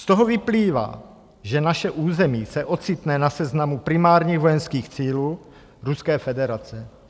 Z toho vyplývá, že naše území se ocitne na seznamu primárních vojenských cílů Ruské federace.